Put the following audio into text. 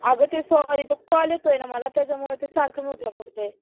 आग कॉल येतोय ना मला त्यामुळे सारखं म्यूट ला पडतोय, ऐक ना मामी ला आहे मी वरती कॉल नको करू